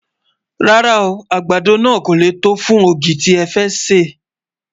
rárá o, àgbàdo nà kò lẹ tó fún ọ̀gì tẹ fé ṣé